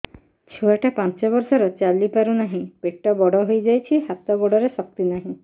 ଛୁଆଟା ପାଞ୍ଚ ବର୍ଷର ଚାଲି ପାରୁ ନାହି ପେଟ ବଡ଼ ହୋଇ ଯାଇଛି ହାତ ଗୋଡ଼ରେ ଶକ୍ତି ନାହିଁ